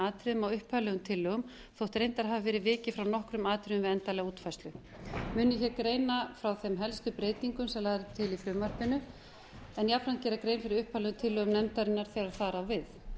atriðum á upphaflegum tillögum þótt reyndar hafi verið vikið frá nokkrum atriðum við endanlega útfærslu mun ég hér greina frá þeim helstu breytingu sem lagðar eru til í frumvarpinu en jafnframt gera grein fyrir upphaflegu tillögunum nefndarinnar þegar það á við